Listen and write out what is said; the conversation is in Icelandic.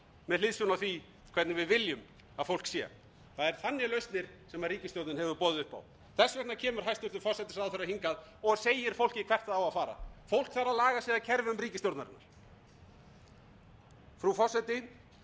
með hliðsjón af því hvernig við viljum að fólk sé það eru þannig lausnir sem ríkisstjórnin hefur boðið upp á þess vegna kemur hæstvirtur forsætisráðherra hingað og segir fólki hvert það á að fara fólk þarf að laga sig að kerfum ríkisstjórnarinnar frú forseti það